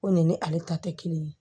Ko nin ni ale ta tɛ kelen ye